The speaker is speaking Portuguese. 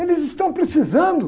Eles estão precisando.